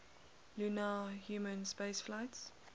lunar human spaceflights